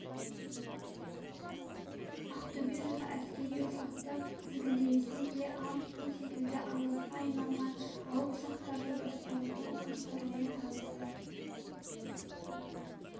ақтөбе жұртшылығы әскери ұшақты тізгіндемесе де ан су секілді аңызға айналған алып ұшақтарды басқарудың қыр-сырымен танысты